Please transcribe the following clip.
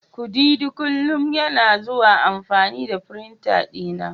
kudidi kullum yana zuwa amfani da firinta dina.